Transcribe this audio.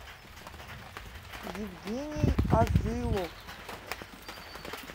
евгений азылов